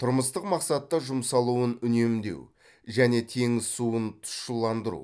тұрмыстық мақсатта жұмсалуын үнемдеу және теңіз суын тұщыландыру